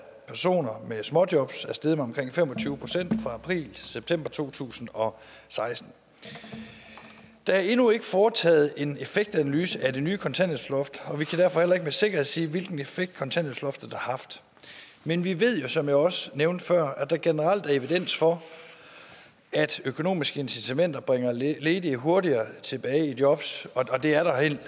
personer med småjobs er steget med omkring fem og tyve procent fra april til september to tusind og seksten der er endnu ikke foretaget en effektanalyse af det nye kontanthjælpsloft og vi kan derfor heller ikke med sikkerhed sige hvilken effekt kontanthjælpsloftet har haft men vi ved jo som jeg også nævnte før at der generelt er evidens for at økonomiske incitamenter bringer ledige hurtigere tilbage i job det er der reelt